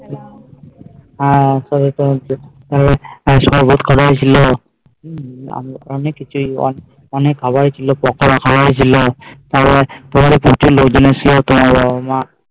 আর তবে তো সব load করা ছিল অনেক খাওয়াই ছিল